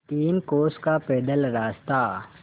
तीन कोस का पैदल रास्ता